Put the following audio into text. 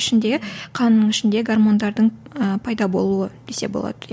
ішіндегі қанның ішінде гармондардың ііі пайда болуы десе болады иә